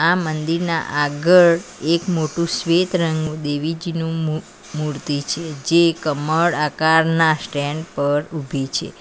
આ મંદિરના આગળ એક મોટું શ્વેત રંગ નુ દેવીજીનું મુ_મૂર્તિ છે જે કમળ આકારના સ્ટેન્ડ પર ઉભી છે.